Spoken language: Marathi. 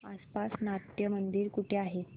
आसपास नाट्यमंदिर कुठे आहे